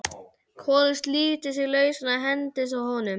Kolur slítur sig lausan og hendist að honum.